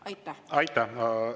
Aitäh!